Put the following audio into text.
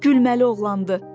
Gülməli oğlandı.